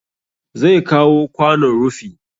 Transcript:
Zai kawo kwanon rufi